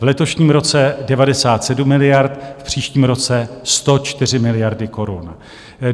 V letošním roce 97 miliard, v příštím roce 104 miliardy korun.